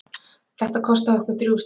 Þetta kostaði okkur þrjú stig.